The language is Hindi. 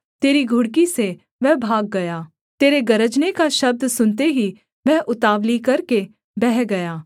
तेरी घुड़की से वह भाग गया तेरे गरजने का शब्द सुनते ही वह उतावली करके बह गया